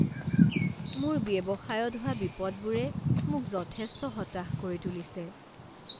মোৰ ব্যৱসায়ত হোৱা বিপদবোৰে মোক যথেষ্ট হতাশ কৰি তুলিছে।